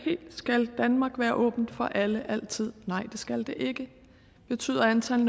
skal danmark være åben for alle altid nej det skal det ikke betyder antallet